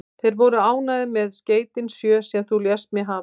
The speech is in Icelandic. Þeir voru ánægðir með skeytin sjö, sem þú lést mig hafa.